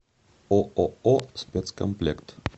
ооо спецкомплект